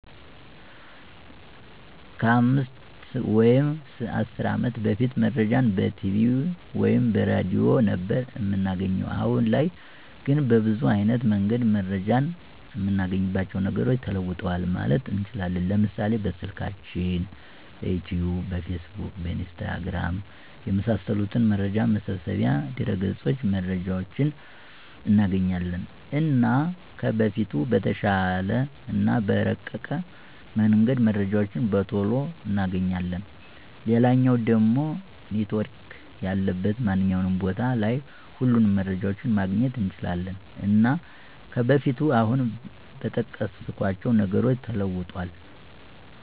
ከ 5 ወይም 10 አመት በፊት መረጃን በቲቪ ወይም በሬድዮ ነበር እምናገኘዉ። አሁን ላይ ግን በብዙ አይነት መንገድ መረጃን እምናገኝባቸዉ ነገሮች ተለዉጠዋል ማለት እንችላለን፤ ለምሳሌ፦ በስልካችን፣ በዩቱዩብ፣ በፌስቡክ፣ በኢንስታግራም፣ የመሳሰሉት መረጃ መሰብሰቢያ ድረገፆች መረጃዎችን እናገኛለን። እና ከበፊቱ በተሻለ እና በረቀቀ መንገድ መረጃዎችን በቶሎ እናገኛለን፣ ሌላኛዉ ደሞ ኔትዎርክ ያለበት ማንኛዉም ቦታ ላይ ሁሉንም መረጃዎችን ማግኘት እንችላለን። እና ከበፊቱ አሁን በጠቀስኳቸዉ ነገሮች ተለዉጧል።